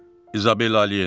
İzabelə Ali Yenidir.